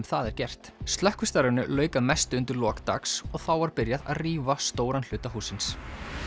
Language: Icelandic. það er gert lauk að mestu undir lok dags og þá var byrjað að rífa stóran hluta hússins